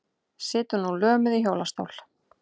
Situr nú lömuð í hjólastól.